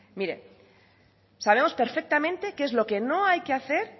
mire sabemos perfectamente qué es lo que no hay que hacer